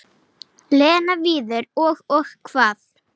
Lena, Viðar og- Og hvað?